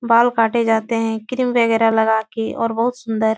बाल काटे जाते है क्रीम वगैरह लगा के और बहुत सुन्दर --